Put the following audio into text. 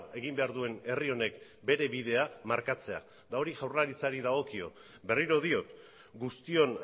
egin behar duen herri honek bere bidea markatzea hori jaurlaritzari dagokio berriro diot guztion